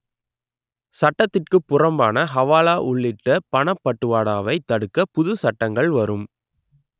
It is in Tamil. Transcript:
சட்டத்திற்கு புறம்பான ஹவாலா உள்ளிட்ட பணப்பட்டுவாடாவை தடுக்க புது சட்டங்கள் வரும்